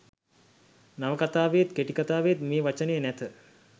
නවකතාවේත් කෙටිකතාවේත් මේ වචනය නැත